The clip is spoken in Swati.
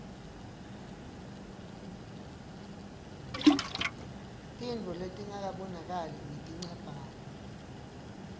tintfo letingabonakali ngetincabhayi